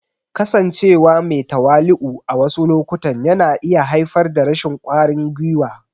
Kasancewa me tawali'u a wasu lokutan yana iya haifar da rashin ƙwarin gwiwa.